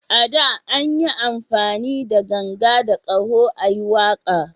A da, an yi amfani da ganga da ƙaho a yi waƙa